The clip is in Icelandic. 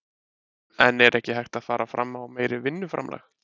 En er ekki hægt að fara fram á meira vinnuframlag?